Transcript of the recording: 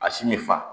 A si ne fa